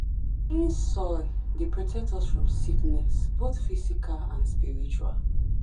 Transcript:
soil dey protect us from sickness both physical and spiritual.